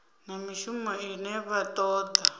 na mishumo ine vha toda